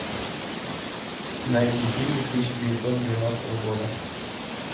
найди фильмы тысяча девятьсот девяностого года